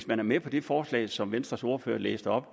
man er med på det forslag som venstres ordfører læste op